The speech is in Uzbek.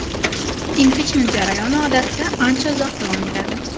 Impichment jarayoni odatda ancha uzoq davom etadi.